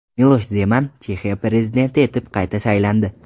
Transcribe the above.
Milosh Zeman Chexiya prezidenti etib qayta saylandi.